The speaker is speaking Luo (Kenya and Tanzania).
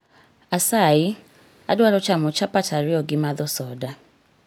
Asayi, adwaro chamo chapt ariyo gi madho soda.